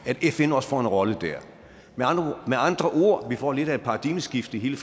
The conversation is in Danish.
at fn også får en rolle der med andre ord vi får lidt af et paradigmeskift i hele